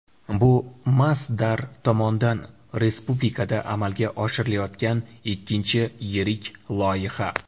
Bu Masdar tomonidan respublikada amalga oshirilayotgan ikkinchi yirik loyiha.